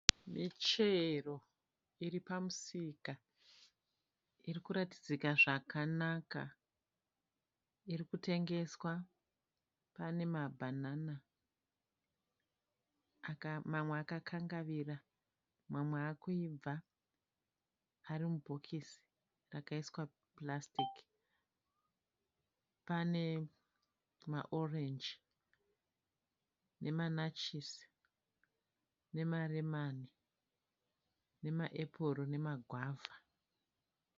Michero iri pamusika iri kuratidzika zvakanana iri kutengeswa, pane mabhanana, mamwe akakangavira ,mamwe akuibva, ari mubhokisi akaiswa purasitiki. Pane maorenji nematachisi, nemaremani, nemaepuru nemagwavha.